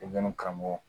karamɔgɔ